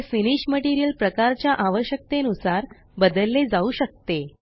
हे finish material प्रकाराच्या आवश्यकते नुसार बदलले जाऊ शकते